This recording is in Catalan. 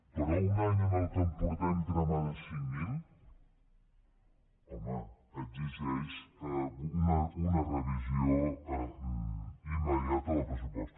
però un any en què en portem cremades cinc mil home exigeix una revisió immediata del pressupost